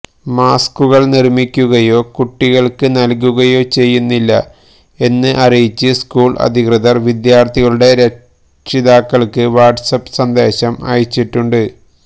മാസ്കുകള് നിര്മ്മിക്കുകയോ കുട്ടികള്ക്ക് നല്കുകയോ ചെയ്യുന്നില്ല എന്ന് അറിയിച്ച് സ്കൂള് അധികൃതര് വിദ്യാര്ഥികളുടെ രക്ഷിതാക്കള്ക്ക് വാട്സ്ആപ്പ് സന്ദേശം അയച്ചിട്ടുണ്ട്